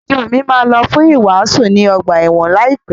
Ìjo mi máa lọ fún ìwàásù ní ọgbà ẹ̀wọ̀n láìpẹ́.